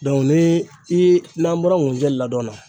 ni i n'an bɔra ŋunjɛ ladɔn na